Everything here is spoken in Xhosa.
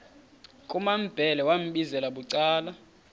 kumambhele wambizela bucala